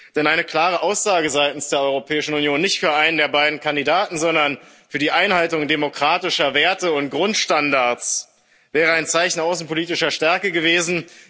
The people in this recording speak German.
Denn eine klare Aussage seitens der Europäischen Union nicht für einen der beiden Kandidaten, sondern für die Einhaltung demokratischer Werte und Grundstandards wäre ein Zeichen außenpolitischer Stärke gewesen.